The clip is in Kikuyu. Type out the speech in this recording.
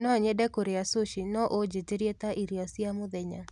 no nyende kũria sushi no unjitirie ta ĩrĩo cĩa mũthenya